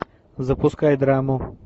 запускай драму